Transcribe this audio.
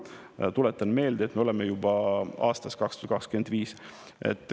Ma tuletan meelde, et me oleme juba aastas 2025.